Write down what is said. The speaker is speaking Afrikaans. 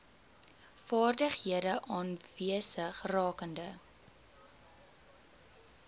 vaardighede aanwesig rakende